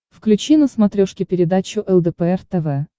включи на смотрешке передачу лдпр тв